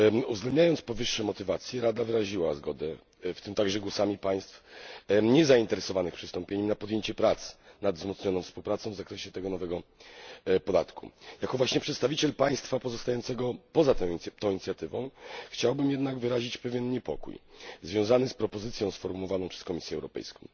Uwzględniając powyższe motywacje, Rada wyraziła zgodę, w tym także głosami państw niezainteresowanych przystąpieniem, na podjęcie prac nad wzmocnioną współpracą dotyczącą tego nowego podatku. Jako przedstawiciel państwa pozostającego poza tą inicjatywą chciałbym jednak wyrazić pewien niepokój związany z propozycją sformułowaną przez Komisję Europejską.